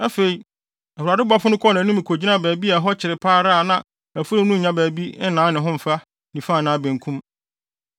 Afei, Awurade bɔfo no kɔɔ nʼanim kogyinaa baabi a ɛhɔ kyere pa ara a na afurum no nnya baabi nnan ne ho mfa nifa anaa benkum.